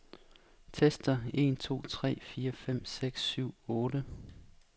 Tester en to tre fire fem seks syv otte.